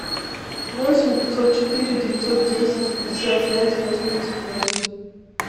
восемь пятьсот четыре девятьсот десять пятьдесят пять восемьдесят восемь